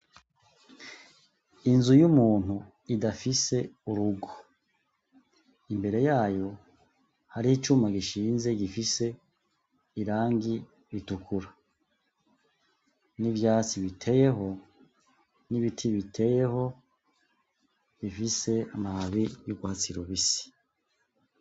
Inzu y'umuntu idafise urugo, imbere yayo harih'icuma gishinze gifise irangi ritukura, n'ivyatsi biteyeho, n'ibiti biteyeho bifise amababi y'urwatsi rubisi.